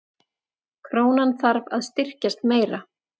Krónan þarf að styrkjast meira